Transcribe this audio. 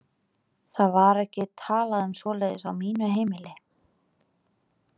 Það var ekki talað um svoleiðis á mínu heimili.